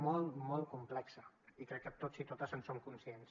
molt molt complex i crec que tots i totes en som conscients